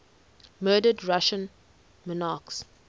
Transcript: murdered russian monarchs